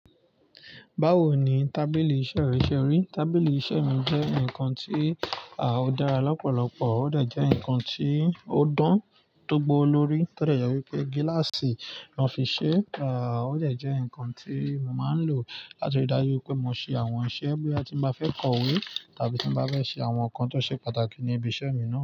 Báwo ni tábìlì iṣẹ́ rẹ ṣe rí? Tábìlì iṣẹ́ mi jẹ́ nǹkan tí, à, ó dára lọ́pọ̀lọpọ̀, ó de jẹ́ ǹkan tí ó dán tó gbó lórí tọ dẹ̀ yẹ wípé gíláàsì ló fi ṣe, à, ó dè jẹ́ ǹkan tí mo máa ń lò láti ri dájú pé mo ṣe àwọn iṣẹ́ bóya ti ń bá fẹ́ kọ̀wé tàbí tí ń bá fẹ́ ṣe àwọn ǹkan tó ṣe pàtàkì ní ibi iṣẹ́ mi ná.